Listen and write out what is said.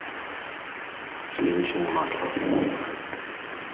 сливочное масло